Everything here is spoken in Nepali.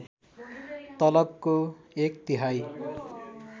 तलबको एक तिहाई